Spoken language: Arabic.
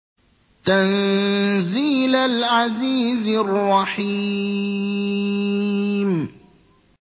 تَنزِيلَ الْعَزِيزِ الرَّحِيمِ